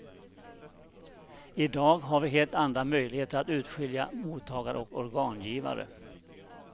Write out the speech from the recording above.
I dag har vi helt andra möjligheter att urskilja mottagare och organgivare.